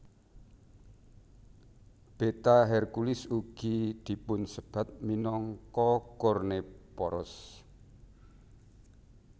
Beta Herculis ugi dipunsebat minangka Kornephoros